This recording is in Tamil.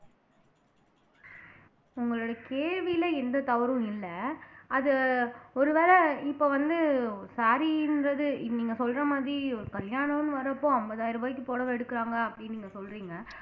உங்களுடைய கேள்வியிலே எந்த தவறும் இல்லை அது ஒருவேளை இப்ப வந்து saree ன்றது நீங்க சொல்ற மாதிரி ஒரு கல்யாணம்ன்னு வர்றப்போ ஐம்பதாயிரம் ரூபாய்க்கு புடவ எடுக்குறாங்க அப்படின்னு நீங்க சொல்றீங்க